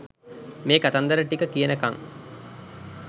මේ කතන්දර ටික කියනකං